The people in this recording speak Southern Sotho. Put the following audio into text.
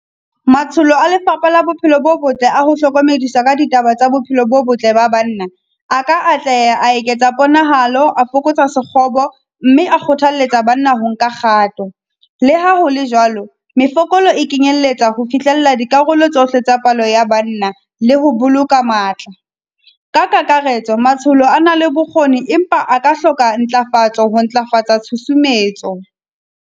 Matsholo a lefapha la bophelo bo botle a ho hlokomedisa ka ditaba tsa bophelo bo botle ba banna, aka atleha a eketsa ponahalo, a fokotsa sekgobo mme a kgothalletsa banna ho nka kgato. Le ha hole jwalo, mefokolo e kenyelletsa ho fihlella dikarolo tsohle tsa palo ya banna le ho boloka matla. Ka kakaretso, matsholo a na le bokgoni, empa a ka hloka ntlafatso ho ntlafatsa tshusumetso.